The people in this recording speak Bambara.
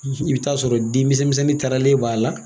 i be t'a sɔrɔ den misɛn misɛnin tɛrɛlen b'a la.